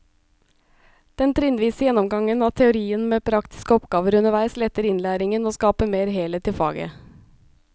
Den trinnvise gjennomgangen av teorien med praktiske oppgaver underveis letter innlæringen og skaper mer helhet i faget.